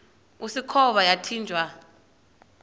usikhova yathinjw a